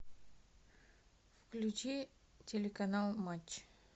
включи телеканал матч